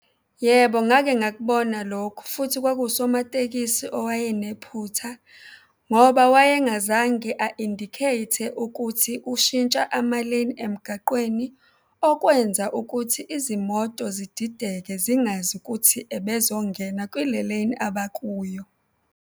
Yebo, ngake ngakubona lokhu futhi kwakuwusomatekisi owayenephutha ngoba waye ngazange a-indicate-e ukuthi ushintsha ama-lane emgaqweni. Okwenza ukuthi izimoto zidideke, zingazi ukuthi ubezongena kule-lane abakuyo.